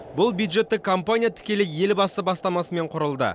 бұл бюджеттік компания тікелей елбасы бастамасымен құрылды